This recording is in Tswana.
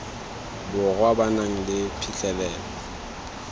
borwa ba nang le phitlhelelo